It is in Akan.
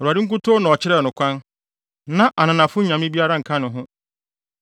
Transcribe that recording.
Awurade nkutoo na ɔkyerɛɛ no kwan; na ananafo nyame biara nka ne ho.